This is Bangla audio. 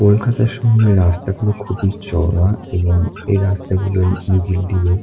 কলকাতা শহরের রাস্তাগুলো খুবই চওড়া এবং এই রাস্তা গুলোর নিচের দিয়ে ।